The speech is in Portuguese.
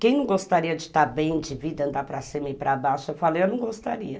Quem não gostaria de estar bem, de vida, andar para cima e para baixo, eu falei, eu não gostaria.